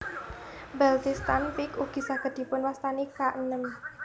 Baltistan Peak ugi saged dipun wastani K enem